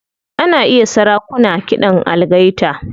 Ana iya sarakuna kiɗan algaita.